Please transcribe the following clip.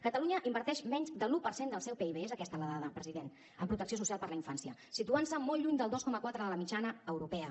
catalunya inverteix menys de l’un per cent del seu pib és aquesta la dada president en protecció social per a la infància i es situa molt lluny del dos coma quatre de la mitjana europea